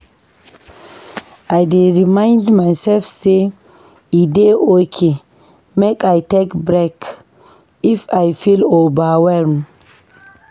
I dey remind myself sey e dey okay make I take break if I feel overwhelmed.